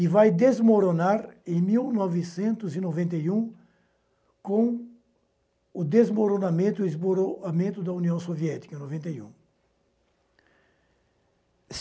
e vai desmoronar em mil novecentos e noventa e um com o desmoronamento e esmoronamento da União Soviética, em noventa e um.